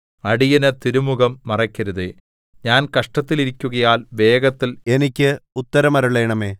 അടിയന് തിരുമുഖം മറയ്ക്കരുതേ ഞാൻ കഷ്ടത്തിൽ ഇരിക്കുകയാൽ വേഗത്തിൽ എനിക്ക് ഉത്തരമരുളണമേ